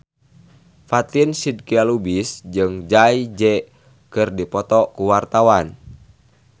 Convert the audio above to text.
Fatin Shidqia Lubis jeung Jay Z keur dipoto ku wartawan